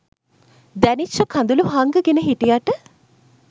දැනිච්ච කඳුළු හංගගෙන හිටියට